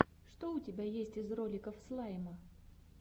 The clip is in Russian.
что у тебя есть из роликов слайма